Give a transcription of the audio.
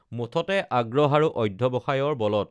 মুঠতে আগ্ৰহ আৰু অধ্যা‌ৱসায়ৰ বলত